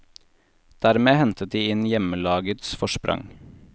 Dermed hentet de inn hjemmelagets forsprang.